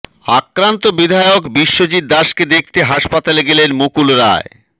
আক্রান্ত বিধায়ক বিশ্বজিৎ দাসকে দেখতে হাসপাতালে গেলেন মুকুল রায়